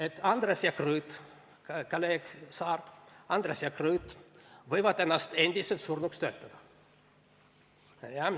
Et Andres ja Krõõt, kolleeg Saar, võivad ennast endiselt surnuks töötada.